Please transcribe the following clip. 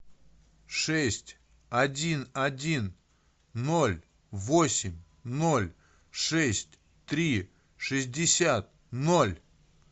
шесть один один ноль восемь ноль шесть три шестьдесят ноль